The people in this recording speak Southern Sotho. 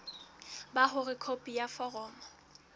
ba hore khopi ya foromo